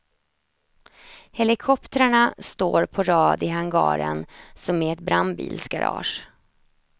Helikoptrarna står på rad i hangaren, som i ett brandbilsgarage.